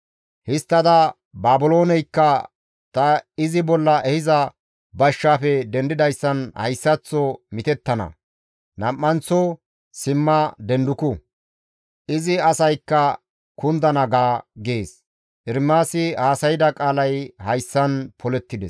Histtada, ‹Baabilooneykka ta izi bolla ehiza bashshaafe dendidayssan hayssaththo mitettana; nam7anththo simma denduku; izi asaykka kundana› ga» gees. Ermaasi haasayda qaalay hayssan polettides.